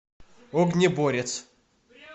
огнеборец